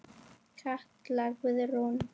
Katla Guðrún.